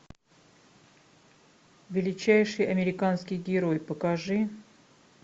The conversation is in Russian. величайший американский герой покажи